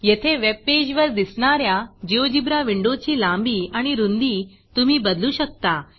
येथे वेबपेज वर दिसणाऱ्या GeoGebraजियोजीब्रा विंडोची लांबी आणि रूंदी तुम्ही बदलू शकता